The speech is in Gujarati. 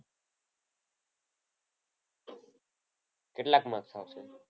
કેટલાક માર્ક આવશે?